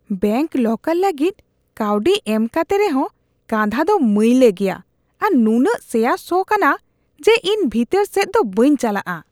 Bank locker ᱞᱟᱹᱜᱤᱫ ᱠᱟᱹᱣᱰᱤ ᱮᱢ ᱠᱟᱛᱮ ᱨᱮᱦᱚᱸ, ᱠᱟᱸᱫᱦᱟ ᱫᱚ ᱢᱟᱹᱭᱞᱟᱹ ᱜᱮᱭᱟ ᱟᱨ ᱱᱩᱱᱟᱹᱜ ᱥᱮᱭᱟ ᱥᱚ ᱠᱟᱱᱟ ᱡᱮ ᱤᱧ ᱵᱷᱤᱛᱟᱹᱨ ᱥᱮᱫ ᱫᱚ ᱵᱟᱹᱧ ᱪᱟᱞᱟᱜᱼᱟ ᱾